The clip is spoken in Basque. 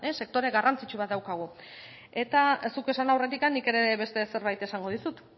sektore garrantzitsu bat daukagu eta zuk esan aurretik nik ere beste zerbait esango dizut